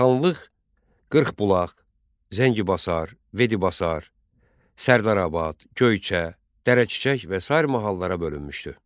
Xanlıq Qırxbulaq, Zəngibasar, Vedibasar, Sərdarabad, Göyçə, Dərəçiçək və sair mahallara bölünmüşdü.